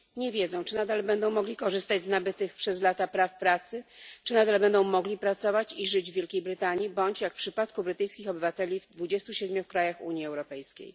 Nie wiedzą, czy nadal będą mogli korzystać z nabytych przez lata praw pracy, czy nadal będą mogli pracować i żyć w Wielkiej Brytanii bądź jak w przypadku brytyjskich obywateli w 27 krajach Unii Europejskiej.